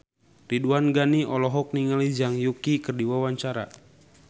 Ridwan Ghani olohok ningali Zhang Yuqi keur diwawancara